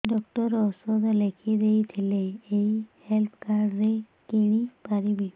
doctor ଔଷଧ ଲେଖିଦେଇଥିଲେ ଏଇ ହେଲ୍ଥ କାର୍ଡ ରେ କିଣିପାରିବି